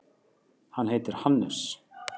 Hann heitir Hannes.